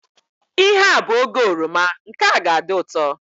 Ihe a bụ oge oroma, nke a ga adị ụtọ